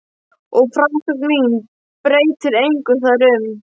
Og frásögn mín breytir engu þar um.